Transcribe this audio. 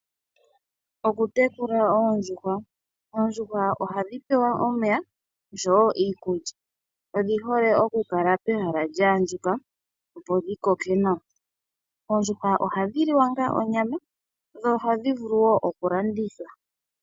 Okutekula oondjuhwa. Oondjuhwa ohadhi pewa omeya osho wo iikulya. Odhi hole okukala pehala lya andjuka, opo dhi koke nawa. Oondjuhwa ohadhi liwa onga onyama, dho ohadhi vulu wo okulandithwa.